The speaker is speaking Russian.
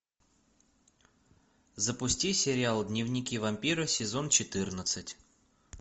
запусти сериал дневники вампира сезон четырнадцать